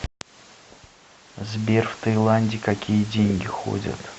сбер в таиланде какие деньги ходят